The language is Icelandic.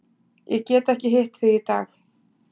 Ég get ekki hitt þig í dag.